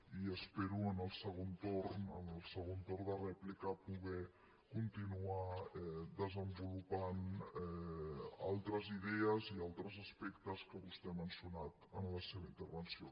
i espero en el segon torn en el segon torn de rèplica poder continuar desenvolupant altres idees i altres aspectes que vostè ha mencionat en la seva intervenció